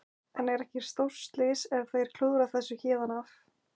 En er ekki stórslys ef þeir klúðra þessu héðan af?